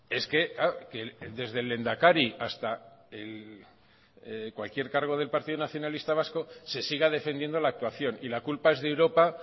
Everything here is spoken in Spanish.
es que desde el lehendakari hasta cualquier cargo del partido nacionalista vasco se siga defendiendo la actuación y la culpa es de europa